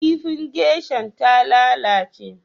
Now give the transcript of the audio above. Kifin geisha'n ta lallace.